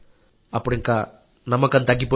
అప్పుడు నమ్మకం తగ్గిపోయింది